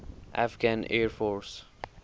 afghan air force